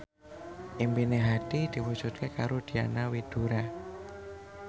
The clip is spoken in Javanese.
impine Hadi diwujudke karo Diana Widoera